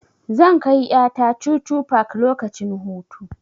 Zan kai ƴa ta chuchu park lokacin hutu.